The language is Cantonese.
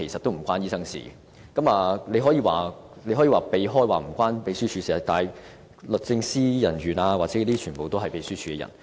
局長可以迴避問題，說與秘書處無關，但律政司人員亦全屬秘書處的人員。